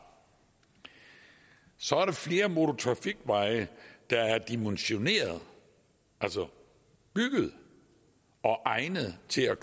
så er der flere motortrafikveje der er dimensioneret altså bygget og egnet til at